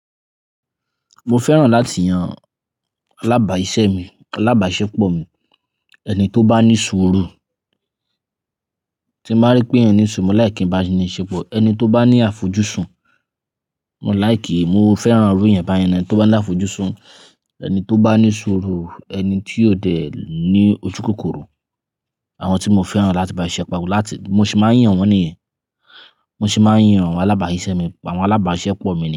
Mo fẹ́ràn láti yan alábàá iṣẹ́ mi, alábàá iṣẹ́ pọ̀ mi. Ẹni tó bá ní ṣúùrù, tí bá rí pé ẹniyan ní ṣúùrù, mo like kí n bá a ní ìṣípò. Ẹni tó bá ní àfojúsùn, mo like, mo fẹ́ràn irú yẹn báyìí náa. Ẹni tó bá ní àfojúsùn, ẹni tó bá ní ṣúùrù, ẹni tí yóò dẹ̀ ní ojúkòkòrò. Àwọn tí mo fẹ́ràn láti bá i ṣe po, bi mo sì máa ń yàn wọ́n nìyẹn. Mo sì máa ń yàn àwọn alábàá iṣẹ́ mi, àwọn alábàá iṣẹ́ pọ̀ mi ni.